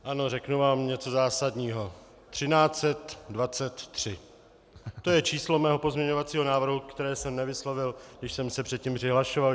Ano, řeknu vám něco zásadního: 1323 - to je číslo mého pozměňovacího návrhu, které jsem nevyslovil, když jsem se předtím přihlašoval.